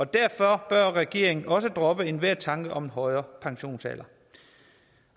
derfor bør regeringen også droppe enhver tanke om en højere pensionsalder